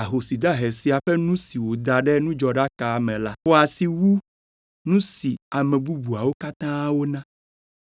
ahosi dahe sia ƒe nu si wòda ɖe nudzɔɖaka me la xɔ asi wu nu si ame bubuawo katã wona,